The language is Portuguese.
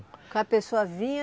pessoa vinha...